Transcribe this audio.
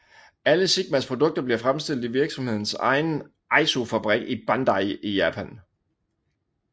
Alle Sigmas produkter bliver fremstillet i virksomhedens egen Aizufabrik i Bandai i Japan